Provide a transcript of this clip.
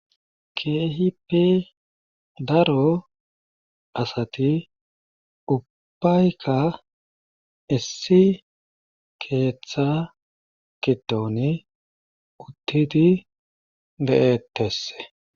keehipi daro asati ubbayka issi keeththa kitoni uttiti de7ettesse